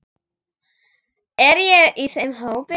Er ég í þeim hópi.